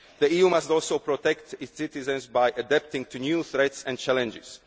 The EU must also protect its citizens by adapting to new threats and challenges.